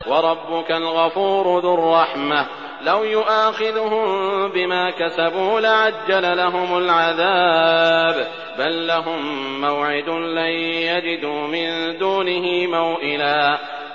وَرَبُّكَ الْغَفُورُ ذُو الرَّحْمَةِ ۖ لَوْ يُؤَاخِذُهُم بِمَا كَسَبُوا لَعَجَّلَ لَهُمُ الْعَذَابَ ۚ بَل لَّهُم مَّوْعِدٌ لَّن يَجِدُوا مِن دُونِهِ مَوْئِلًا